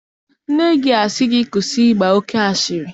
Nne gị asị gị kwụsị ịgba oke asịrị?